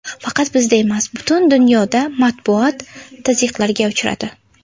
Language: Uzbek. Faqat bizda emas, butun dunyoda matbuot tazyiqlarga uchradi.